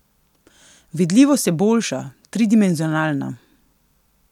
Vidljivost je boljša, tridimenzionalna.